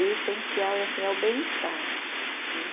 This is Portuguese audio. O essencial é assim, é o bem-estar né.